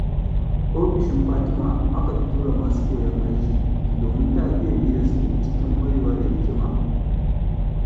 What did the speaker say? Ofishin Fatima aka fi tura masu koyon aiki, domin ta iya bi da su cikin ƙwarewa da hikima.